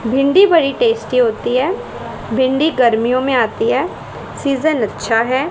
भिंडी बड़ी टेस्टी होती है भिंडी गर्मियों में आती है सीजन अच्छा है।